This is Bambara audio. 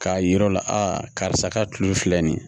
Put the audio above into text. K'a yira u la a karisa ka kile filɛ nin ye